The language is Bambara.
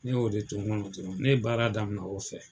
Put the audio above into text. Ne y'o de to n kɔnɔ dɔrɔn. Ne ye baara daminɛ o de fɛ.